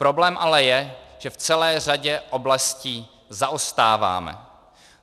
Problém ale je, že v celé řadě oblastí zaostáváme.